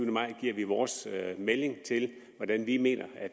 give vores melding til hvordan vi mener at